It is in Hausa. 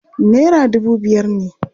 Naira dubu biyar ne.